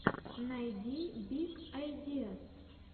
найди биг айдиаз